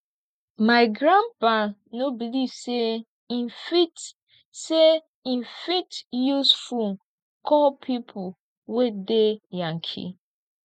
my grandpa no believe sey im fit sey im fit use fone call pipo wey dey yankee